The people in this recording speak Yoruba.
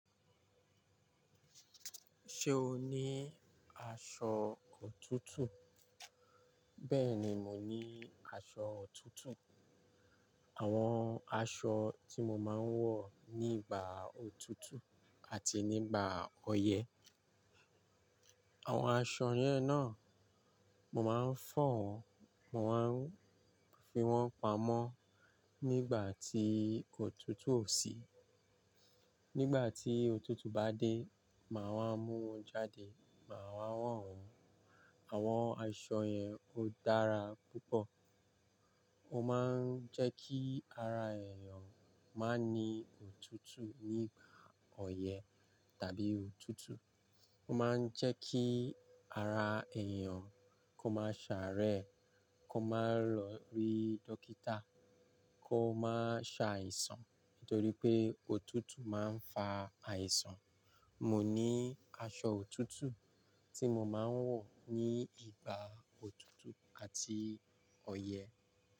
Ṣé o ní aṣọ òtútù? Bẹ́ẹ̀ni, mo ní aṣọ òtútù. Àwọn aṣọ tí mo máa ń wọ̀ nígbà òtútù àti nígbà ọyẹ́. Àwọn aṣọ yẹn náà, mo máa fó wọ́n, mo máa ń fi wọ́n pamọ́ nígbà tí òtútù ò sí. Nígbà tí òtútù bá dé, màá wá mú wọn jáde, màá wá wọ̀n. Àwọn aṣọ yẹn ó dára púpọ̀. Ó máa ń jẹ́ kí ara èèyàn máa ní òtútù nígbà ọyẹ́ tàbí òtútù. Ó máa ń jẹ́ kí ara èèyàn kó máa ṣàárẹ̀, kó máa lọ rí dókítà, kó máa ṣàìsàn nítorí pé òtútù máa ń fa àìsàn. Mò ní aṣọ òtútù tí mo máa ń wọ̀ ní ìgbà òtútù àti ọyẹ́